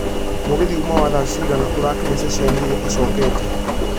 Mũgithi ũma wa thaa cigana ũrakinya ceceni ĩria ĩcokete